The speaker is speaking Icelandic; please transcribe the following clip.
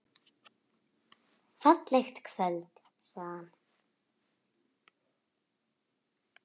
Fallegt kvöld sagði hann.